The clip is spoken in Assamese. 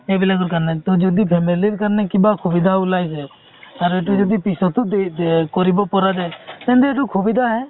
এইবিলাকৰ কাৰণে ত যদি family কাৰণে কিবা সুবিধা উলাই যাই আৰু এইটো যদি পিছতও কৰিব পৰা যাই তেন্তে এইটো সুবিধা হে